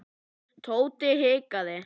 Tóti hikaði.